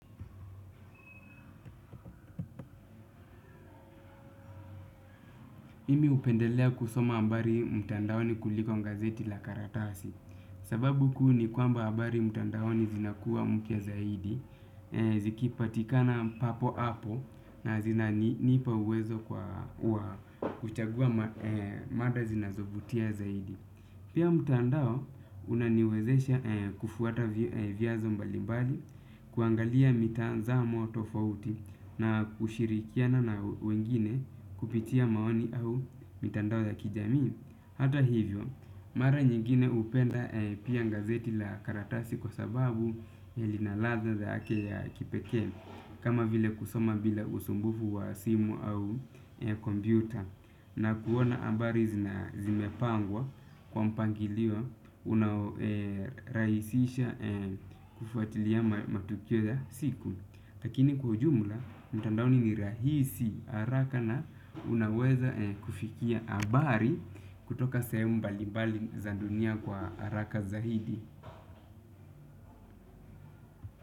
Mimi hupendelea kusoma habari mtandaoni kuliko gazeti la karatasi. Sababu kuu ni kwamba habari mtandaoni zinakuwa mpya zaidi. Zikipatikana papo-hapo na zinanipa uwezo kwa kuchagua mada zinazovutia zaidi. Pia mtandao unaniwezesha kufuata viazo mbalimbali. Kuangalia mitanzamo tofauti na kushirikiana na wengine kupitia maoni au mitandao ya kijamii, hata hivyo, mara nyingine hupenda pia gazeti la karatasi kwa sababu ya linaladha yake ya kipekee, kama vile kusoma bila usumbufu wa simu au kompyuta na kuona habari zimepangwa kwa mpangilio unarahisisha kufuatilia matukio ya siku lakini kwa ujumla mtandaoni ni unaweza kufikia habari kutoka sehemu mbali mbali za dunia kwa haraka zaidi.